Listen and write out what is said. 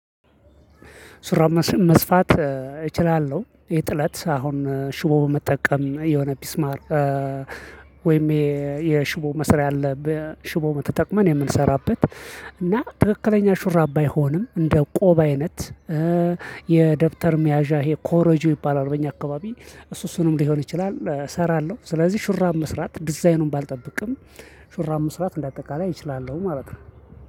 ሹራብ መስፋት እችላለሁ የጥለት አሁን ሽቦ በመጠቀም የሆነ ሚስማር ወይም የሽቦ መስሪያ አለ በሽቦ መተጠቅመን የምንሰራበት እና ትክክለኛ ሹራብ ባይሆንም እንደ ቆብ አይነት የደብተር ሚያዣ የኮሮጆ ይባላል። በእኛ አካባቢ እሱ እሱንም ሊሆን ይችላል እሰራለሁ። ስለዚህ ሽራብ መስራት ዲዛይኑን ባልጠብቅም ሽራብ መስራት እንደ አጠቃላይ እችላለሁ ማለት ነው።